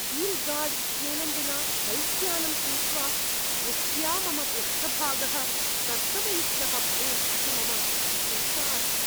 V-Guard इत्येनं विना बैक्यानं क्रीत्वा, वृष्ट्या मम पृष्ठभागः कर्दमयुक्तः भवेत् इति मम चिन्ता अस्ति।